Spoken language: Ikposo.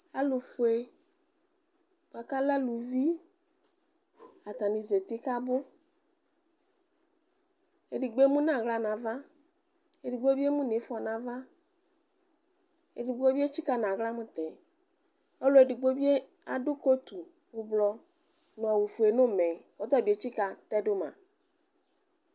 Alʋfue bʋakʋ alɛ alʋvi zeti kʋ abʋ edigbo emʋnʋ aɣla nʋ ava edigbo bi emʋnʋ ifɔ nʋ ava edigbo bi etsika nʋ aɣla mʋ tɛɛ kʋ edigno bi adʋ kotʋ ʋblɔ nʋ awʋfue nʋ ʋmɛ kʋ ɔtabi etsika tɛdʋma